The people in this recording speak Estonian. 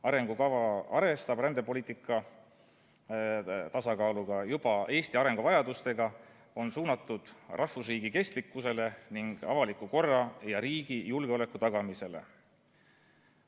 Arengukava arvestab rändepoliitika tasakaaluga ja Eesti arenguvajadustega, on suunatud rahvusriigi kestlikkusele ning avaliku korra ja riigi julgeoleku tagamisele.